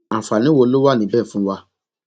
àǹfààní wo ló wà níbẹ fún wa